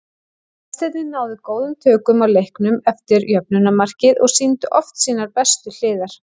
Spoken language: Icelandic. Gestirnir náðu góðum tökum á leiknum eftir jöfnunarmarkið og sýndu oft sínar bestu hliðar.